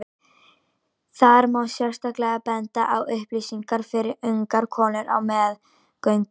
Þar má sérstaklega benda á upplýsingar fyrir ungar konur á meðgöngu.